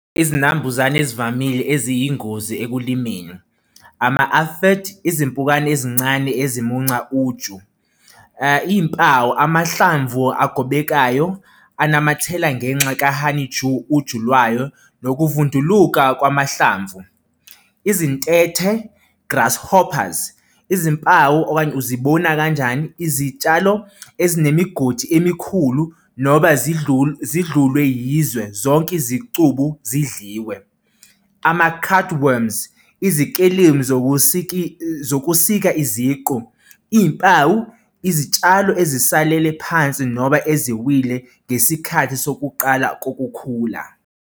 Izinambuzane ezivamile eziyingozi ekulimeni izimpukane ezincane esimunca uju, iy'mpawu amahlamvu agobekayo unamathela ngenxa ka-honey dew, uju lwayo nokuvunduluka kwamahlamvu. Izintethe, grasshoppers izimpawu okanye uzibona kanjani izitshalo ezinemigodi emikhulu noba zidlulwe yizwe zonke izicubu zidliwe. Ama-card worms, izikelemu zokusika iziqu, iy'mpawu, izitshalo ezisalele phansi noba eziwile ngesikhathi sokuqala kokukhula.